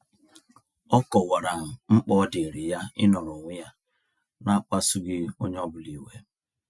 Ọ kọwara mkpa ọ diiri ya ịnọrọ onwe ya na-akpasughị onye ọbụla iwe.